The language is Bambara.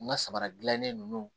N ka samara dilannen ninnu